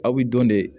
Aw bi dɔn de